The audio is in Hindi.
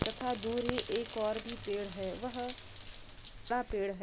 तथा दूरी एक और भी पेड़ है। वह पेड़ है।